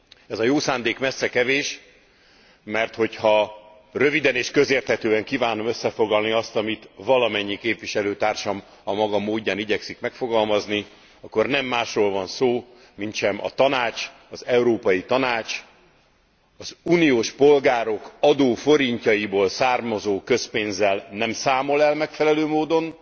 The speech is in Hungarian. Ez a jó szándék messze kevés, mert hogy ha röviden és közérthetően kívánom összefoglalni, azt, amit valamennyi képviselőtársam a maga módján igyekszik megfogalmazni, akkor nem másról van szó, mintsem a Tanács, az Európai Tanács, az uniós polgárok adóforintjaiból származó közpénzzel nem számol el megfelelő módon,